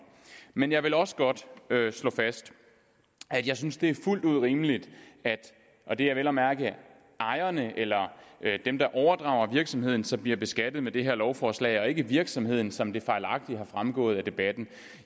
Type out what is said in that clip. men jeg vil også godt slå fast at jeg synes det er fuldt ud rimeligt og det er vel at mærke ejerne eller dem der overdrager virksomheden som bliver beskattet ved det her lovforslag og ikke virksomheden som det fejlagtigt er fremgået af debatten